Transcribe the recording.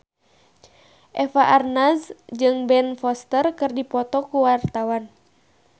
Eva Arnaz jeung Ben Foster keur dipoto ku wartawan